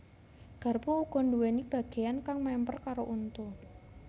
Garpu uga nduwèni bagéyan kang mèmper karo untu